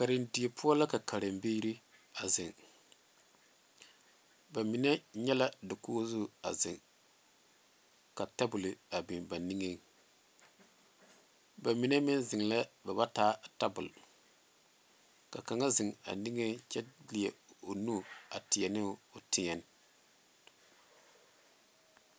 Karendie poɔ la ka karembiiri a zeŋ ba mine nyɛ la dakogi zu a zeŋ ka tabol a biŋ ba niŋeŋ ba mine meŋ zeŋ lɛ ba ba taa tabol ka kaŋa zeŋ a niŋeŋ kyɛ leɛ o nu a tie ne o teɛŋ